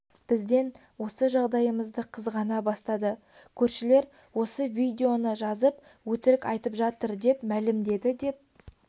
бізден осы жағдайымызды қызғана бастады көршілер осы видеоны жазып өтірік айтып жатыр деп мәлімдеді деп